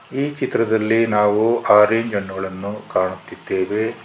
ಈ ಚಿತ್ರದಲ್ಲಿ ನಾವು ರೇಂಜ್ ಹಣ್ಣುಗಳನ್ನು ಕಾಣುತ್ತಿದ್ದೇವೆ.